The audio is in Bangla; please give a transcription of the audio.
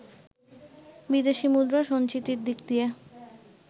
বিদেশি মুদ্রার সঞ্চিতির দিক দিয়ে